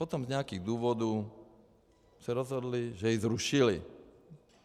Potom z nějakých důvodů se rozhodli, že ji zrušili.